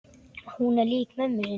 Hún er lík mömmu sinni.